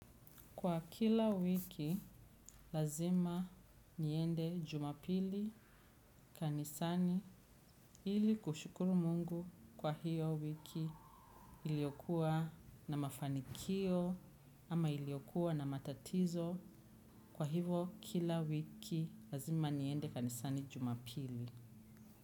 Kwa kila wiki lazima niende jumapili kanisani ili kushukuru mungu kwa hiyo wiki iliokua na mafanikio ama iliokua na matatizo kwa hivo kila wiki lazima niende kanisani jumapili.